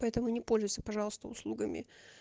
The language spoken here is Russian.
поэтому не пользуйся пожалуйста услугами